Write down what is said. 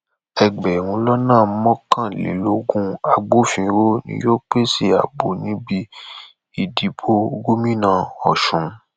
ẹgbẹrún lọnà mọkànlélógún agbófinró ni yóò pèsè ààbò níbi ìdìbò gómìnà ọsùn